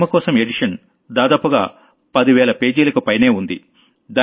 ఆ హేమకోశం ఎడిషన్ దాదాపుగా 10వేల పేజీలకు పైనే ఉంది